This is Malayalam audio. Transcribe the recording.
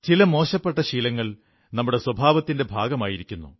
ചില മോശപ്പെട്ട ശീലങ്ങൾ നമ്മുടെ സ്വഭാവത്തിന്റെ ഭാഗമായിരിക്കുന്നു